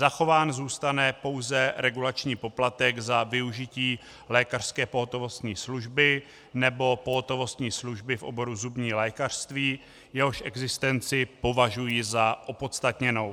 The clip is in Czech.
Zachován zůstane pouze regulační poplatek za využití lékařské pohotovostní služby nebo pohotovostní služby v oboru zubní lékařství, jehož existenci považuji za opodstatněnou.